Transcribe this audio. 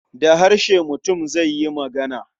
Da harshe mutum zai yi magana.